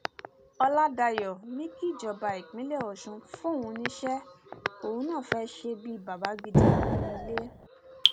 ọlàdáyọ ni kíjọba ìpínlẹ ọṣun fóun níṣẹ òun náà fẹẹ ṣe bíi bàbá gidi nínú ilé